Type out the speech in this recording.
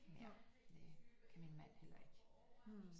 Ja det kan min mand heller ikke